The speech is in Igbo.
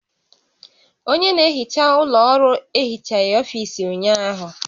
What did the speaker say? Onye na-ehicha ụlọ ọrụ ehichaghị ọfiisi ụnyaahụ